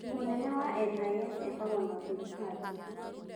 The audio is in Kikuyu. Mũnene wa NIS etagwo Nordin Haji.